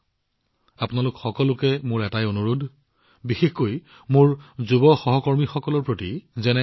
মই আপোনালোক সকলোকে বিশেষকৈ মোৰ যুৱ বন্ধুসকলক আৰু এটা বিষয়ত অনুৰোধ জনাইছো